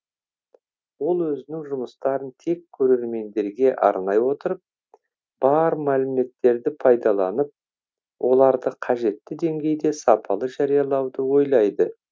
ол өзінің жұмыстарын тек көрермендерге арнай отырып бар мәліметтерді пайдаланып оларды қажетті деңгейде сапалы жариялауды ойлайды